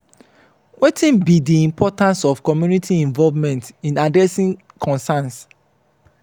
wetin be di importance of community involvement in addressing concerns?